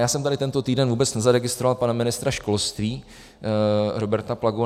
Já jsem tady tento týden vůbec nezaregistroval pana ministra školství Roberta Plagu.